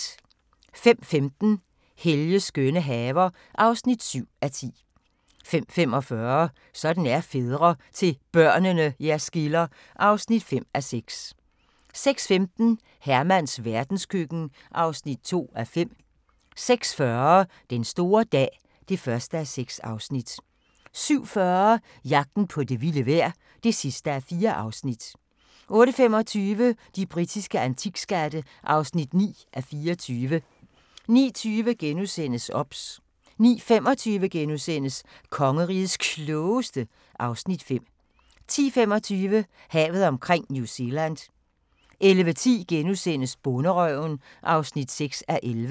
05:15: Helges skønne haver (7:10) 05:45: Sådan er fædre - til børnene jer skiller (5:6) 06:15: Hermans verdenskøkken (2:5) 06:40: Den store dag (1:6) 07:40: Jagten på det vilde vejr (4:4) 08:25: De britiske antikskatte (9:24) 09:20: OBS * 09:25: Kongerigets Klogeste (Afs. 5)* 10:25: Havet omkring New Zealand 11:10: Bonderøven (6:11)*